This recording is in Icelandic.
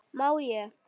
má ég!